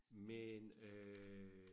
Men øh